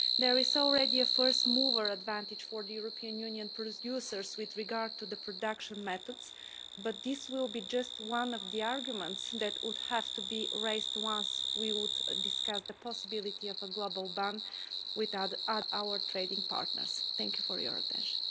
There is already a first mover advantage for European Union producers with regard to production methods, but this will be just one of the arguments that would have to be raised once we discuss the possibility of a global ban with our trading partners. Thank you for your attention.